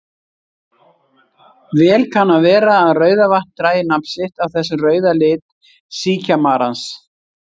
Vel kann að vera að Rauðavatn dragi nafn sitt af þessum rauða lit síkjamarans.